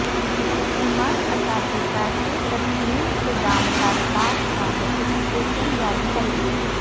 حکومت اساتذہ کے تسلیم شدہ مطالبات کا نوٹیفکیشن جاری کرے